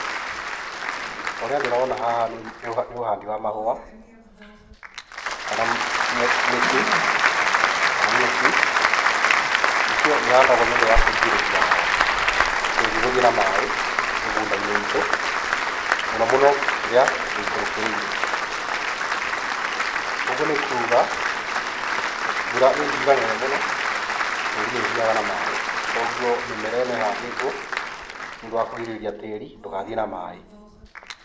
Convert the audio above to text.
Ũrĩa ndĩrona haha nĩ ũhandi wa mahũa, kana mĩtĩ, kana nyeki, icio ihandagwo nĩ ũndũ wa kũrigĩrĩria tĩri gũthiĩ na maĩ mĩgũnda-inĩ itũ mũno mũno ĩrĩa ĩikũrũkĩrĩire. Ũguo nĩ kuga mbura ĩngiura nene mũno tĩri nĩ ũthiaga na maĩ, koguo mĩmera ĩno ĩhandĩtwo nĩ ũndũ wa kũrigĩrĩria tĩri ndũgathiĩ na maĩ.